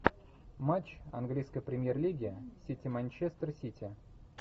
матч английской премьер лиги сити манчестер сити